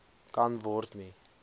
kan word nie